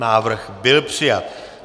Návrh byl přijat.